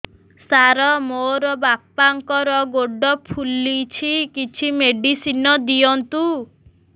ସାର ମୋର ବାପାଙ୍କର ଗୋଡ ଫୁଲୁଛି କିଛି ମେଡିସିନ ଦିଅନ୍ତୁ